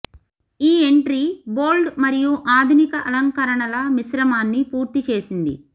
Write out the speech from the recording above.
ఈ entry bold మరియు ఆధునిక అలంకరణల మిశ్రమాన్ని పూర్తి చేసింది